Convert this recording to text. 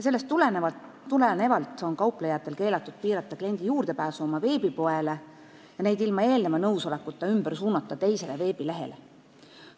Sellest tulenevalt on kauplejatel keelatud piirata kliendi juurdepääsu oma veebipoele ja neid ilma eelneva nõusolekuta ümber suunata teisele veebilehele.